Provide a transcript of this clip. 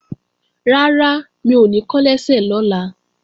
Rárá, mi ò ní kán lẹ́sẹ̀ lọ́la